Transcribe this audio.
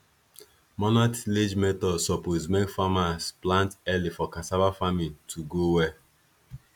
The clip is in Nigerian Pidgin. manual tillage method suppose make farmers plant early for cassava farming to go well